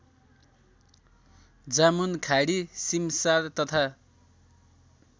जामुनखाडी सिमसार तथा